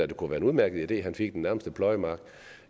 det kunne være en udmærket idé at han fik den nærmeste pløjemark